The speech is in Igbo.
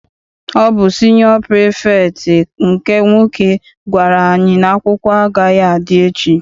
Ọ bụ siniọ pirifektị nke nwoke gwara anyị n'akwụkwọ agaghị adị echi.